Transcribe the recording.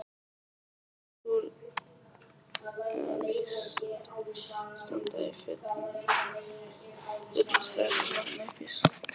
Súrrealískt að standa í fullum strætisvagni uppi í sveit!